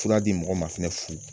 Fura di mɔgɔ ma fana fu!